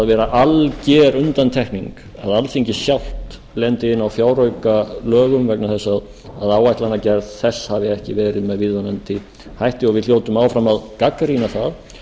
vera alger undantekning að alþingi sjálft lendi inni á fjáraukalögum vegna þess að áætlanagerð þess hafi ekki verið með viðunandi hætti og við hljótum áfram að gagnrýna það